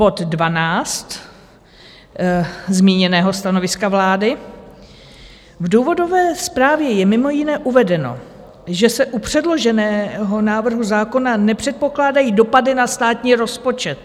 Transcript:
Bod 12 zmíněného stanoviska vlády: "V důvodové zprávě je mimo jiné uvedeno, že se u předloženého návrhu zákona nepředpokládají dopady na státní rozpočet."